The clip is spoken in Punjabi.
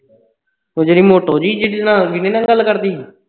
ਊਹੋ ਜੇੜੀ ਮੋਟੀ ਜਿਹੀ ਜਿਹਦੇ ਨਾਲ ਵਿਨੈ ਨਾਲ ਗੱਲ ਕਰਦੀ ਸੀ